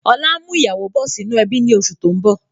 Ọlá ń mú ìyàwó bọ̀ sì inú ẹbi ni oṣù tó ń bọ̀